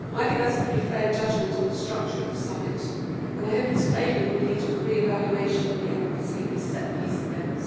I think that is a pretty fair judgment on the structure of the summit, and I hope its failure will lead to a re evaluation of the efficacy of these set piece events.